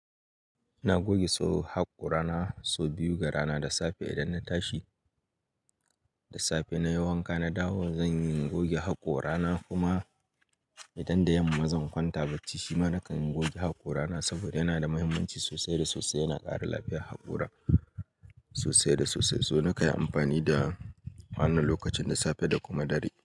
Na goge so haƙora na so biyu ga rana da safe idan na tashi. Da safe na yi wanka na dawo zan goge haƙora na kuma idan da yamma zan kwanta bacci shima nakan goge haƙora na saboda yana da muhimmanci sosai da sosai. Yana ƙara lafiyar haƙora sosai da sosai. So nakan yi amfani da wannan lokacin da safe da kuma dare.